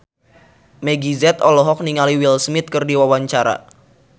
Meggie Z olohok ningali Will Smith keur diwawancara